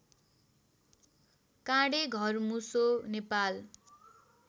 काँडे घरमुसो नेपाल